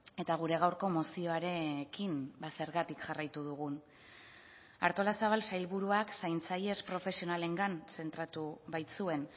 eta gure gaurko mozioarekin zergatik jarraitu dugun artolazabal sailburuak zaintzailez profesionalengan zentratu baitzuen